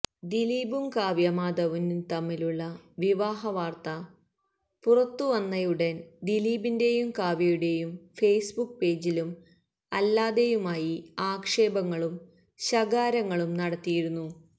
ദിലീപും കാവ്യമാധവനും തമ്മിലുള്ള വിവാഹ വാര്ത്ത പുറത്തുവന്നയുടന് ദിലീപിന്റെയും കാവ്യയുടെയും ഫേസ്ബുക്ക് പേജിലും അല്ലാതെയുമായി ആക്ഷേപങ്ങളും ശകാരങ്ങളും നടത്തിയിരുന്നു